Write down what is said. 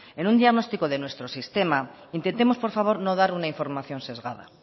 en un diagnóstico de nuestro sistema intentemos por favor no dar una información sesgada